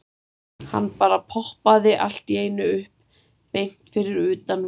Hann bara poppaði allt í einu upp beint fyrir utan verksmiðjuna.